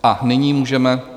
A nyní můžeme...